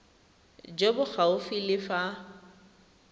jo bo gaufi le fa